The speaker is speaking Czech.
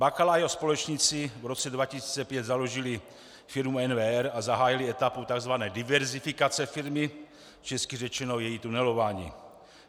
Bakala a jeho společníci v roce 2005 založili firmu NWR a zahájili etapu tzv. diverzifikace firmy, česky řečeno její tunelování.